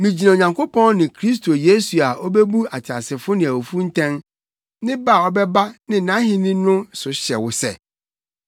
Migyina Onyankopɔn ne Kristo Yesu a obebu ateasefo ne awufo ntɛn, ne ba a ɔbɛba ne nʼahenni no so hyɛ wo sɛ,